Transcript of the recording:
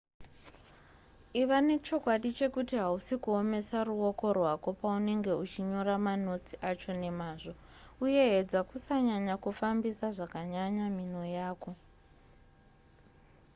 iva nechokwadi chekuti hausi kuomesa ruoko rwako paunenge uchinyora manotsi acho nemazvo uye edza kusanyanya kufambisa zvakanyanya minwe yako